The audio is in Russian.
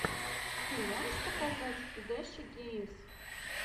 ты можешь показать дэши геймс